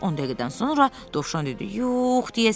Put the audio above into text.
10 dəqiqədən sonra Dovşan dedi: “Yox, deyəsən.”